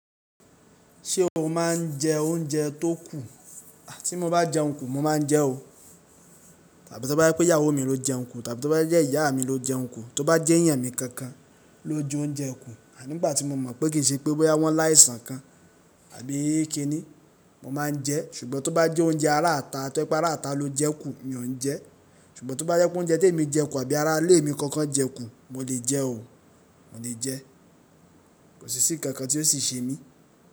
Ṣé o máa ń jẹ oúnjẹ tó kù? Tí mo bá jẹun kù mo máa ń jẹ́ o. Tàbí tó bá jẹ́ pé ìyàwó mi ló jẹun kù, tàbí tó bá jẹ́ ìyá mi ló jẹun kù, tó bá jééyàn mi kankan ló joúnjẹ kù, ní gbà tí mo mọ̀ pé kì í ṣe pé wọ́n láìsàn kan àbí kiní, mo máa ń jẹ. Ṣùgbọ́n tó bá jẹ́ oúnjẹ ará ata, tó bá jẹ́ ará ata ló jẹun kù, mi ò ń jẹ́. Ṣùgbọ́n tó bá jẹ́ póunjẹ́ témi jẹ kù tàbí ará ilé mi kankan jẹ kù, mo lè jẹ́ o, mo le jẹ. Kò sì ṣíìnkankan tí ó sì ṣe mí.